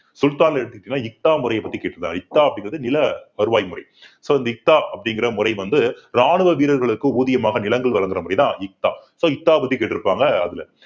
சுல்தான்னு எடுத்துக்கிட்டீங்கன்னா முறையைப் பத்தி கேட்டிருக்காரு இக்தா அப்படிங்கிறது நில வருவாய் முறை so இந்த இக்தா அப்படிங்கிற முறை வந்து ராணுவ வீரர்களுக்கு ஊதியமாக நிலங்கள் வழங்குற முறைதான் இக்தா so இக்தாவை பத்தி கேட்டிருப்பாங்க அதுல